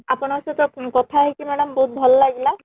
ଆପଣ ଙ୍କ ସହିତ କଥା ହେଇକି madam ବହୁତ ଭଲ ଲାଗିଲା